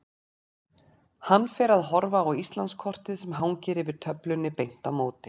Hann fer að horfa á Íslandskortið sem hangir yfir töflunni beint á móti.